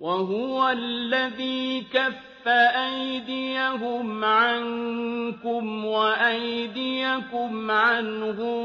وَهُوَ الَّذِي كَفَّ أَيْدِيَهُمْ عَنكُمْ وَأَيْدِيَكُمْ عَنْهُم